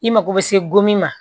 I mako bɛ se go min ma